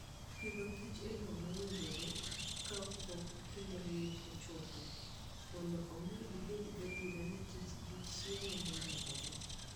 Pidhg kich e yo mowinjore kapok kinde ng'ich ochopo, mondo omi ibed gadier ni kich gi chiemo moromogi.